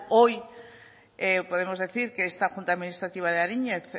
hoy podemos decir que esta junta administrativa de ariñez